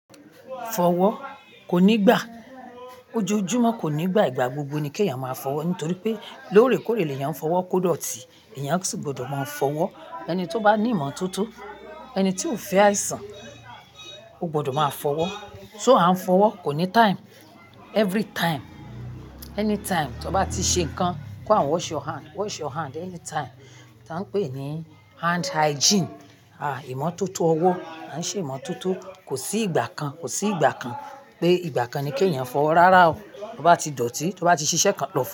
Fọwọ́ kò ní gbà, ojoojúmọ́ kò ní gbà, ìgbà gbogbo ni kí ẹ̀yàn máa fọwọ́ nítorí pé lóòrèkóòrè ni èèyàn ń fọwọ́ kódọ̀tí, èèyàn sì gbọdọ̀ máa fọwọ́. Ẹni tó bá ní ìmọ́tótó, ẹni tí ó fẹ́ àìsàn ó gbọdọ̀ máa fọwọ́. So a ń fọwọ́ kò ní time, every time, anytime tí ọ bá ti ṣe nǹkan, kó hań wash your hand, wash your hand anytime tí a ń pè ní hand hygiene. À ìmọ́tótó ọwọ́, a ń ṣe ìmọ́tótó kò sí ìgbà kan, kò sí ìgbà kan pé ìgbà kan ni kí ẹ̀yàn fọwọ́ rárá o, tí o bá ti dọ̀tí, tí o bá ti ṣiṣẹ́ kan lọ.